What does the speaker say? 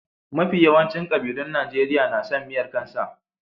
Mafi yawancin kabilun Najeriya na son miyar kan sa.